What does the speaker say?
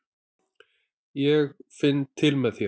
Ég finn til með þér.